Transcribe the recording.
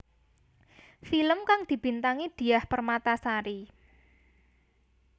Film kang dibintangi Diah Permatasari